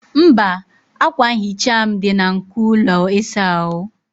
mba, akwa nhicha m dị na nko ụlọ ịsa ahụ